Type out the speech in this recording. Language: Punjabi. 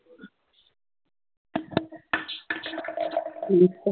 ਬਸ